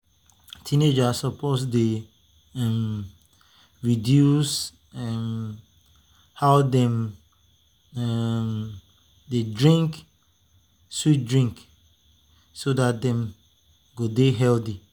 teenagers suppose to dey um reduce um how dem um dey drink sweet drink so dat dem go dey healthy.